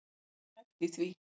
Hvað er hæft í því?